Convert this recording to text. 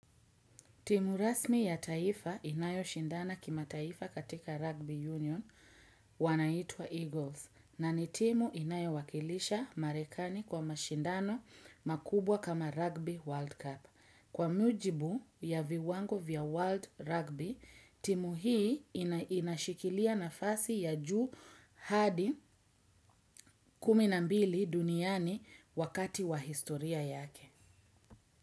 Timu rasmi ya taifa inayo shindana kimataifa katika Rugby Union wanaitwa Eagles na ni timu inayo wakilisha marekani kwa mashindano makubwa kama Rugby World Cup. Kwa mjibu ya viwango vya World Rugby, timu hii inashikilia nafasi ya juu hadi kumi na mbili duniani wakati wa historia yake.